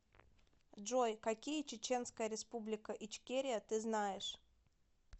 джой какие чеченская республика ичкерия ты знаешь